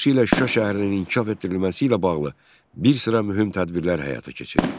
Xüsusilə şəhərin inkişaf etdirilməsi ilə bağlı bir sıra mühüm tədbirlər həyata keçirildi.